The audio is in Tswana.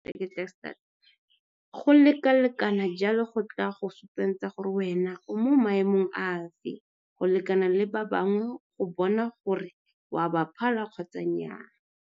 Go lekalekana jalo go tla go supetsa gore wena o mo maemong afe go lekana le ba bangwe go bona gore o a ba phala kgotsa nnyaa.